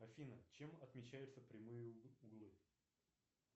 афина чем отмечаются прямые углы